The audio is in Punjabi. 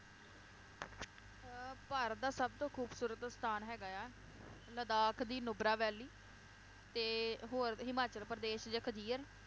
ਅਹ ਭਾਰਤ ਦਾ ਸਬਤੋਂ ਖੂਬਸੂਰਤ ਸਥਾਨ ਹੈਗਾ ਆ ਲਦਾਖ਼ ਦੀ ਨੁਬਰਾ ਵੈਲੀ ਤੇ ਹੋਰ ਹਿਮਾਚਲ ਪ੍ਰਦੇਸ਼ ਚ ਖਜੀਅਰ,